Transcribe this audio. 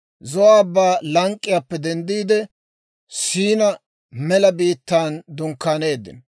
Zo'o Abbaa lank'k'iyaappe denddiide, Siinaa mela biittaan dunkkaaneeddino.